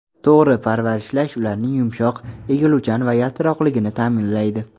To‘g‘ri parvarishlash ularning yumshoq, egiluvchan va yaltiroqligini ta’minlaydi.